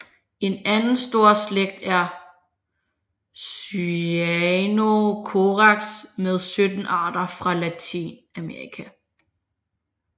En anden stor slægt er Cyanocorax med 17 arter fra Latinamerika